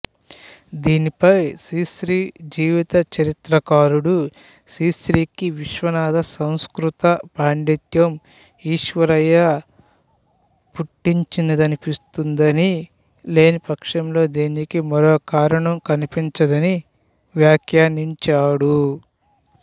దీనిపై శ్రీశ్రీ జీవితచరిత్రకారుడు శ్రీశ్రీకి విశ్వనాథ సంస్కృత పాండిత్యం ఈర్ష్య పుట్టించిందనిపిస్తుందని లేని పక్షంలో దీనికి మరోకారణం కనిపించదని వ్యాఖ్యానించాడు